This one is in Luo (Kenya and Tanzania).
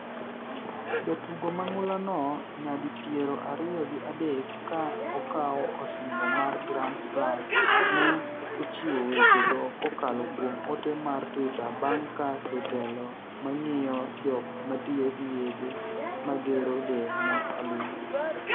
jatugo mang'ulano nyadi piero ariyo gi adek ka okawo osimbo mar Grand Slam ne ochiwo weche go kokalo kuom ote mar Twitter bang' ka jotelo mang'iyo jok matiyo gi yedhe magero del ne olime